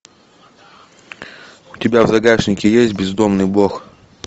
у тебя в загашнике есть бездомный бог